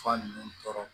Fura ninnu tɔɔrɔ